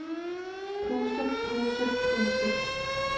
pustet pustet pustet